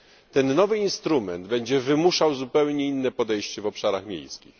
Ten nowy instrument będzie wymuszał zupełnie inne podejście w obszarach miejskich.